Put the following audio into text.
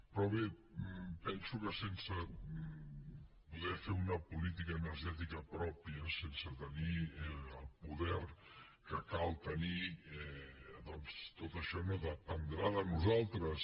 però bé penso que sense poder fer una política energètica pròpia sense tenir el poder que cal tenir doncs tot això no dependrà de nosaltres